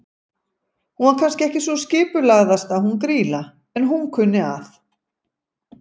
Hún var kannski ekki sú skipulagðasta hún Grýla, en hún kunni að.